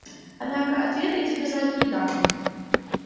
однако ответ я тебе сразу не дам